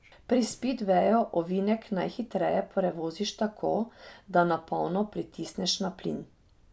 Pri spidveju ovinek najhitreje prevoziš tako, da na polno pritisneš na plin.